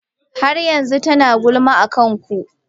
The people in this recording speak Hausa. Har yanzu tana gulma akan ku.